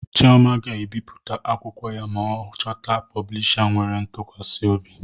Chioma ga-ebipụta akwụkwọ ya ma ọ chọta poblisha nwere ntukwasi obi